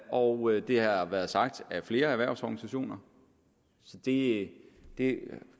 og det har været sagt af flere erhvervsorganisationer det det